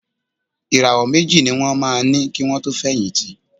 Ìràwọ̀ méjì ní wọ́n máa ní kì wọn tó fẹ̀yìntì.